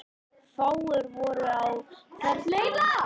Fáir voru á ferli.